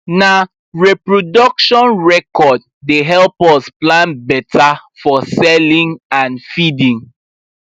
na reproduction record dey help us plan better for selling and feeding